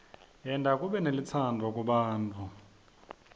yenta kube nelutsandvo kubantfu